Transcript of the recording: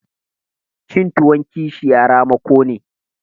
Cin tuwon kishiya tamako